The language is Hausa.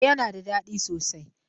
E, yana da ɗadi sosai.